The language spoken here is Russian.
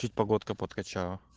чуть погодка подкачала